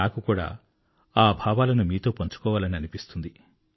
నాకు కూడా ఆ భావాలను మీతో పంచుకోవాలని అనిపిస్తుంది